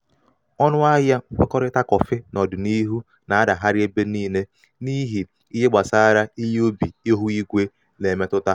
ọnụ ahịa nkwekọrịta kọfị n'ọdịniihu na-adagharị ebe niile n'ihi ihe gbasara ihe ubi ihu igwe na-emetụta.